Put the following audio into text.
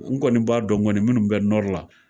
N kɔni b'a dɔn kɔni minnu bɛ la